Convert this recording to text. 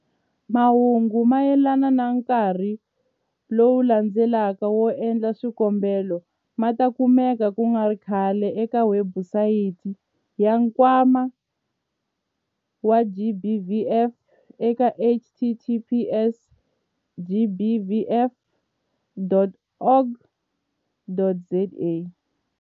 Mahungu mayelana na nkarhi lowu landzelaka wo endla swikombelo ma ta kumeka ku nga ri khale eka webusayiti ya Nkwama wa GBVF eka- https- gbvf.org.za.